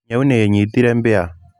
Nyau nĩ ĩnyitire mbĩa.